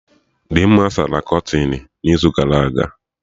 Dimma sara kọtịnụ n'izu gara aga